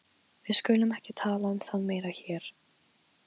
Við skulum ekki tala um það meira hér.